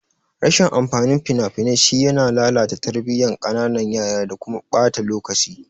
Rashin amfanin fina-finai shine yana lalata tarbiyan kananan yara da kuma ɓata lokaci.